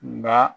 Nka